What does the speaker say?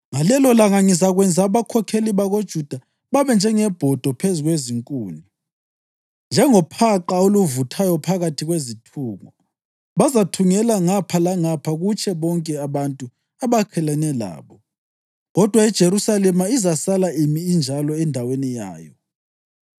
Ngalelolanga ngizakwenza abakhokheli bakoJuda babe njengebhodo phezu kwezikhuni, njengobhaqa oluvuthayo phakathi kwezithungo. Bazathungela ngapha langapha kutshe bonke abantu abakhelene labo, kodwa iJerusalema izasala imi injalo endaweni yayo.